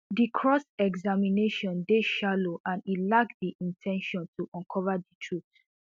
di cross examination dey shallow and e lack di in ten tion to uncover di truth